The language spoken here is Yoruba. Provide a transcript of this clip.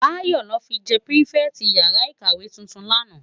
Bayo lò fi jè pirifèti iyàrá ikáwé tútún làná